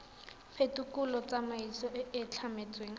phekolo tsamaiso e e tlametsweng